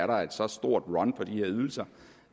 der er et så stort run på de ydelser